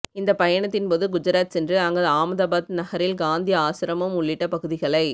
இந்த பயணத்தின் போது குஜராத் சென்று அங்கு ஆமதாபாத் நகரில் காந்தி ஆசிரமம் உள்ளிட்ட பகுதிகளை